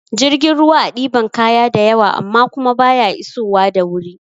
Jirgin ruwa a ɗiban kaya da yawa amma kuma baya iso wa da wuri